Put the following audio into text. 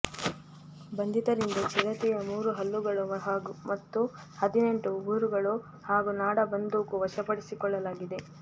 ಬಂಧಿತರಿಂದ ಚಿರತೆಯ ಮೂರು ಹಲ್ಲುಗಳು ಮತ್ತು ಹದಿನೆಂಟು ಉಗುರುಗಳು ಹಾಗೂ ನಾಡ ಬಂದೂಕು ವಶ ಪಡಿಸಿಕೊಳ್ಳಲಾಗಿದೆ